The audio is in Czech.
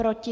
Proti?